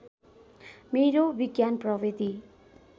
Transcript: मेरो विज्ञान प्रविधि